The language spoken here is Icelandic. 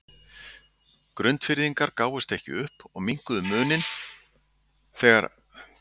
Grundfirðingar gáfust ekki upp og minnkuðu muninn þegar að þrjár mínútur voru til leiksloka.